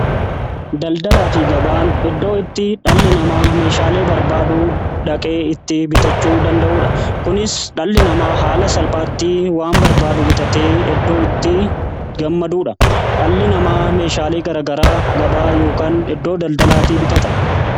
daldalaa fi gabaan eddoo itti dhalli namaa meeshaalee barbaadu dhaqee itti bitachuu danda'uudha . kunis dhalli namaa haala salphaatti waan barbaadu bitate eddoo itti gammaduudha. dhalli namaa meeshaalee garagaraa gabaa yookaan eddoo daldalaati bitata.